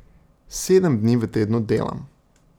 Sedem dni v tednu delam.